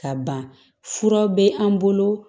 Ka ban fura bɛ an bolo